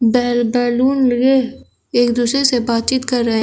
बैल बैलून लगे एक दूसरे से बातचीत कर रहे हैं।